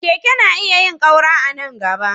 Keke na iya yin ƙaura a nan gaba.